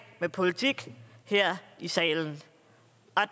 med politik her i salen